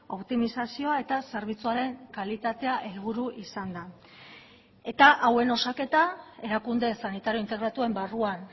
optimizazioa eta zerbitzuaren kalitatea helburu izanda eta hauen osaketa erakunde sanitario integratuen barruan